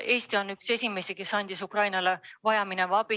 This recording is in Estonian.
Eesti oli üks esimesi, kes andis Ukrainale vajaminevat abi.